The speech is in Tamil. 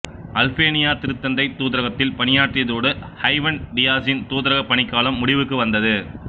அல்பேனியா திருத்தந்தை தூதரகத்தில் பணியாற்றியதோடு ஐவன் டீயாஸின் தூதரகப் பணிக்காலம் முடிவுக்கு வந்தது